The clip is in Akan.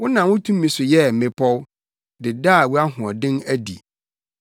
Wonam wo tumi so yɛɛ mmepɔw de daa wʼahoɔden adi.